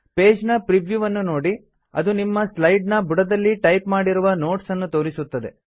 page ನ preview ವನ್ನು ನೋಡಿ ಅದು ನಿಮ್ಮ ಸ್ಲೈಡ್ ನ ಬುಡದಲ್ಲಿ ಟೈಪ್ ಮಾಡಿರುವ ನೋಟ್ಸ್ ನ್ನು ತೋರಿಸುತ್ತದೆ